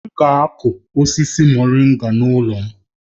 Anyị ga akụ osisi moringa n'ụlọ m